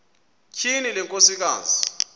tyhini le nkosikazi